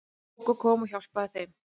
Gógó kom og hjálpaði þeim.